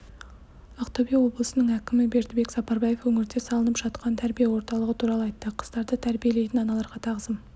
ақтөбе облысының әкімі бердібек сапарбаев өңірде салынып жатқан тәрбие орталығы туралы айтты қыздарды тәрбиелейтін аналарға тағзым